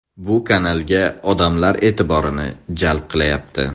Bu kanalga odamlar e’tiborini jalb qilyapti.